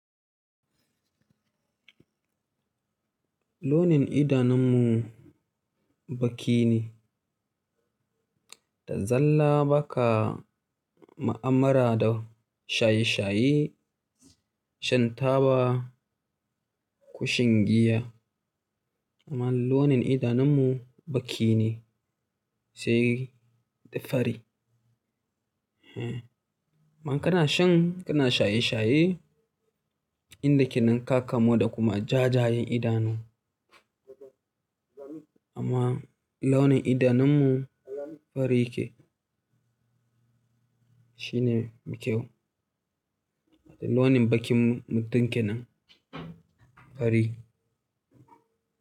Launin idanunmu baki ne. Da zalla ba ka ma'amara da shaye-shaye, shan taba, kushin giya amma launin idanunmu baki ne sai da fari. Eh, man kana shan, kana shaye-shaye, inda ke ninkaka mo da kuma jajayen idanu. Amma launin idanunmu fari yake. Shi ne mafi kyau. Launin bakinmu mutum ke nan fari.